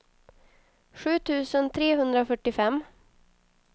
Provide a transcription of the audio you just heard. sju tusen trehundrafyrtiofem